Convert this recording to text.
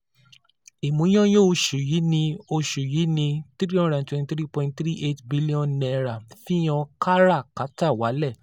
Ìmúyányán oṣù yìí ní oṣù yìí ní three hundred and twenty three point three eight billion naira fihàn kárà-kátà walẹ.